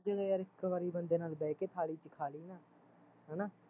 ਜਦੋਂ ਯਾਰ ਇੱਕ ਵਾਰ ਬੰਦੇ ਨਾਲ਼ ਬਹਿਕੇ ਥਾਲੀ ਚ ਖਾਲੀ ਨਾ ਹੈਨਾ